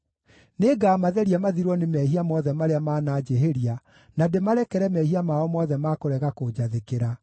Nĩngamatheria mathirwo nĩ mehia mothe marĩa mananjĩhĩria na ndĩmarekere mehia mao mothe ma kũrega kũnjathĩkĩra.